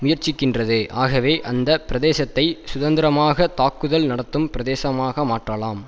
முயற்சிக்கின்றது ஆகவே அந்த பிரதேசத்தை சுதந்திரமாக தாக்குதல் நடத்தும் பிரதேசமாக மாற்றலாம்